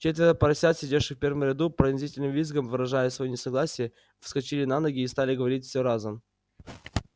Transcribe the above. четверо поросят сидевших в первом ряду пронзительным визгом выражая своё несогласие вскочили на ноги и стали говорить все разом